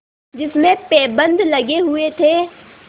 जिसमें पैबंद लगे हुए थे